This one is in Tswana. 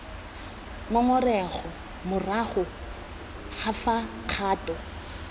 ngongorego morago ga fa kgato